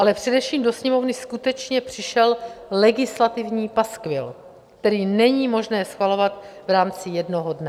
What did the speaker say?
Ale především do Sněmovny skutečně přišel legislativní paskvil, který není možné schvalovat v rámci jednoho dne.